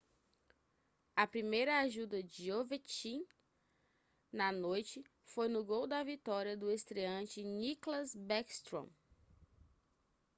a primeira ajuda de ovechkin na noite foi no gol da vitória do estreante nicklas backstrom